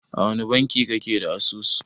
A wani banki kake da asusu?